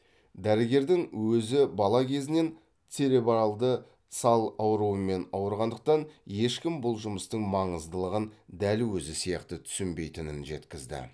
дәрігердің өзі бала кезінен церебральды сал ауруымен ауырғандықтан ешкім бұл жұмыстың маңыздылығын дәл өзі сияқты түсінбейтінін жеткізді